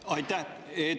Aitäh!